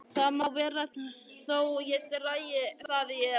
Það má vera þó ég dragi það í efa.